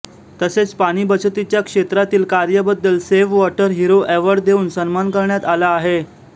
तसेच पाणी बचतीच्या क्षेत्रातील कार्यबद्दल सेव्ह वॉटर हिरो अवॉर्ड देऊन सन्मान करण्यात आला आहे